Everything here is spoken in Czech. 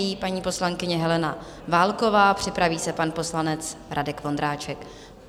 Nyní paní poslankyně Helena Válková, připraví se pan poslanec Radek Vondráček.